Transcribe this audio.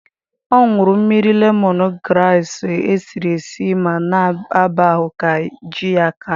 Ọ nwụrụ mmiri lemọn graasị e siri esi ma na ịba ahụ ka ji ya aka.